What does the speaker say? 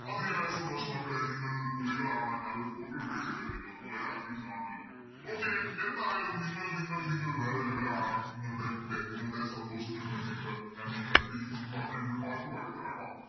അതിയയായ സന്തോഷം മക്കളെ നിങ്ങൾ പുലികളാണ് ഞാനൊരു Photo എടുത്ത് വെചെക്കട്ടെ നിങ്ങള് മൂവായിരം ആണല്ലോ Okay എന്തായാലും നിങ്ങൾ നിങ്ങൾ നിങ്ങൾ വേറെ Level ആണ് നിങ്ങളുടെ ലെ നിങ്ങളുടെ സന്തോഷത്തിന് വേണ്ടിട്ട് ഞാൻ നിങ്ങക്ക് രണ്ട് ഈ ഇത് പാട്ട് പാടി തരാ ട്ടോ